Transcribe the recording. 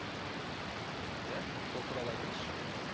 иә сол туралы айтыңызшы